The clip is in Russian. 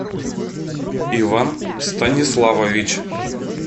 иван станиславович